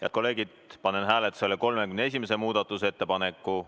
Head kolleegid, panen hääletusele 31. muudatusettepaneku.